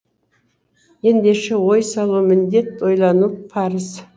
ендеше ой салу міндет ойлану парыз